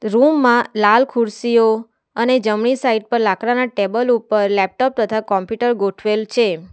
રૂમમાં લાલ ખુરશીઓ અને જમણી સાઈડ પર લાકડાના ટેબલ ઉપર લેપટોપ તથા કોમ્પ્યુટર ગોઠવેલ છે.